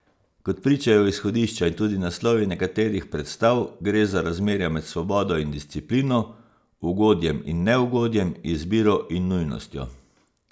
Kot pričajo izhodišča in tudi naslovi nekaterih predstav, gre za razmerja med svobodo in disciplino, ugodjem in neugodjem, izbiro in nujnostjo.